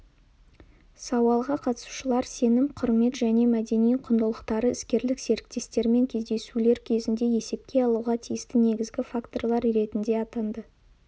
сауалға қатысушылар сенім құрмет және мәдени құндылықтарды іскерлік серіктестермен кездесулер кезінде есепке алуға тиісті негізгі факторлар ретінде атады